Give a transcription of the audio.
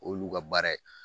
O y'olu ka baara ye.